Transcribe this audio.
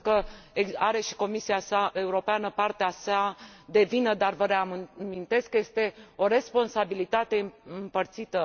Sigur că are și Comisia Europeană partea sa de vină, dar vă reamintesc că este o responsabilitate împărțită.